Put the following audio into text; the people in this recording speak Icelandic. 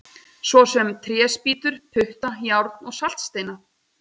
Svo sem tréspýtur, putta, járn og saltsteina!